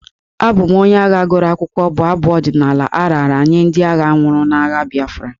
Abụ m onye agha gụrụ akwụkwọ'' bụ abụ ọdịnala a raara nye ndị agha nwụrụ n'agha Biafra.